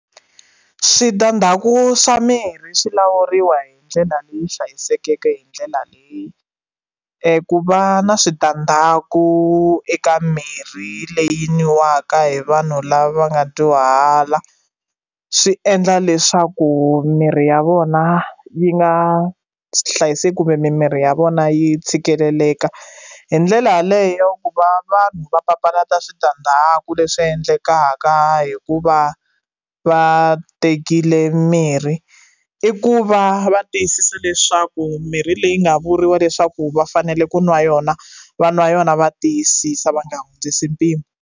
Switandhaku swa mina swi lawuriwa hi ndlela leyi hlayisekeke hi ndlela leyi ku va na switandhaku eka mirhi leyi nwiwaka hi vanhu lava nga dyuhala swi endla leswaku miri ya vona yi nga hlayiseki kumbe mimiri ya vona yi tshikeleleka hi ndlela yaleyo ku va vanhu va papalata switandhaku leswi endlekaka ka ka hikuva va tekile mirhi i ku va va tiyisisa leswaku mirhi leyi nga vuriwa leswaku va fanele ku nwa yona va n'wa yona va tiyisisa va nga hundzisi mpimo.